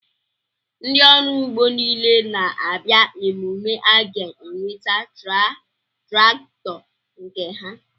Ndị ọrụ ugbo niile na-abịa emume a ga-eweta traktọ nke ha?